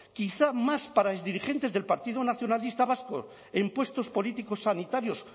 quizás más para exdirigentes del partido nacionalista vasco en puestos políticos sanitarios